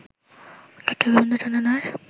ডা. গোবিন্দ চন্দ্র দাস